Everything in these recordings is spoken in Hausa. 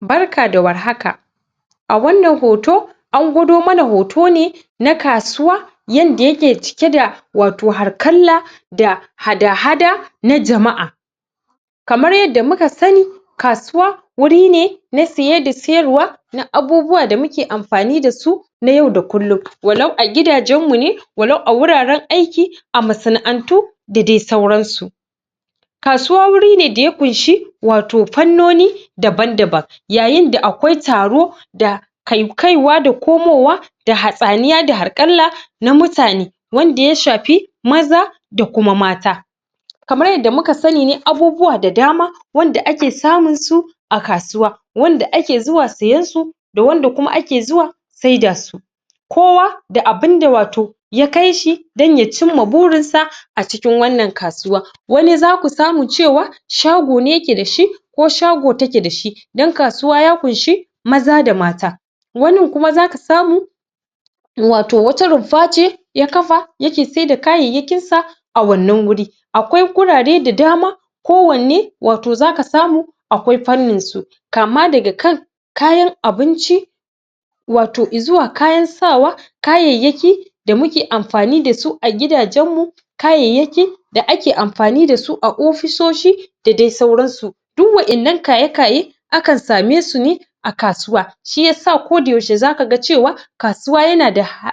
Barka da war haka a wannan hoto an gwado mana hoto ne na kasuwa yadda yake cike da wato harkalla da hada-hada na jama'a kamar yadda muka sani kasuwa wuri ne na saye da sayar wa na abubuwan da muke amfani dasu na yau da kullum walau a gidajen mune ne walau a gura ren aiki a masa na antu da dai sauran su kasuwa wuri ne da ya ƙunshi wato fanno ni daban-daban yayin da akau taro da kaiwa da komowa da hatsaniya da harƙalla na mutane wanda yashafi maza da kuma mata kamar yadda muka sanine abubuwa da dama wanda ake samun su a kasuwa wanda ake zuwa siyansu da wanda kuma ake zuwa sedasu kowa da abunda wato ya kaishi dan ya cimma burinsa acikin wannan kasuwa wani zaku samu cewa shagone yake dashi ko shago take dashi yar kasuwa ya ƙunshi maza da mata wanin kuma zaka samu wato wani rumfa ce ya kafa yake seda kayayyakin sa a wannan wuri akwai gurare da dama ko wanne wato zaka samu akwai fannin su kama daga kan kayan abinci wato izuwa kayan sawa kayayyaki da muke amfani dasu a gidajen mu kayayyaki da'ake amfani dasu a ofisoshi da dai sauran su duk wadan nan kaya kaye akan same su ne a kasuwa shiyasa koda yashe zaka cewa kasuwa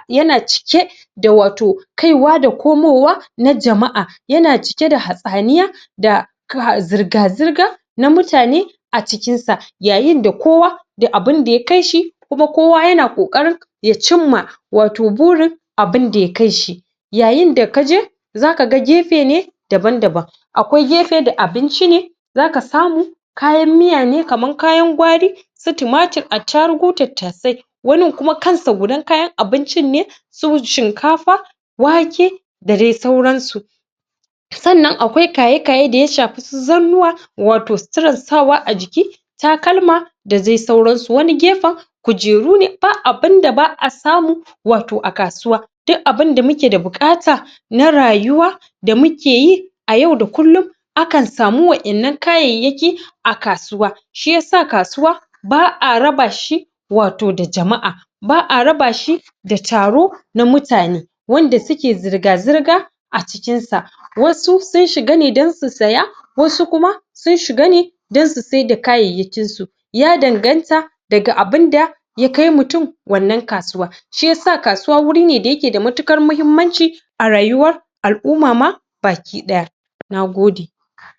yana cike da wato kaiwa da komowa na jama'a yana cike da hatsaniya da ga zirga-zirga na mutane acikin sa yayin da kowa da abun da yai shi kuma kowa yana ƙoƙarin ya cimma wato burin abun da yakaishi yayin da kaje zaka ga gefene daban-daban akwai gefe da abinci ne zaka samu kayan miya ne kaman kayan gwari su tumatir attarugu tattasai wanin kuma kansa gudan kayan abinci ne su shikafa wake da dai sauransu sannan akwai kaya-kaye da yashafi su zannuwa wato suturar sawa ajiki takalma da dai sauransu wani gefen kujeru ne ba abun da ba'a samu wato a kasuwa duk abunda mukeda buƙata na rayuwa damuke yi a yau da kullum akan samu waƴan nan kayayyakin a kasuwa shiyasa kasuwa ba'a rabashi wato da jama'a ba'a rabashi da taro na mutane wadda suke zirga-zirga acikin sa wasu sun shiga ne don su siya wasu kuma sun shiga ne don su sai da kayayyakin su ya danganta daga abun da yakai mutum wannan kasuwa shiyasa kasuwa wurine dayake da matuƙar muhimmanci a rayuwar al-umma ma baki ɗaya nagode